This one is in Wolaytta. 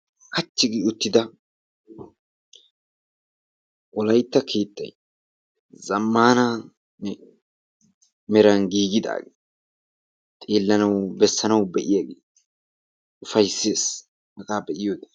Kachchi gi uttida wolaytta keettay zammaananne meran giigidaage xeellanawu bessanawu be7iyageeti ufaysses hagaa be7iyoode.